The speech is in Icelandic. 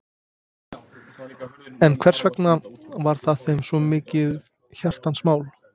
En hversvegna var það þeim svo mikið hjartans mál?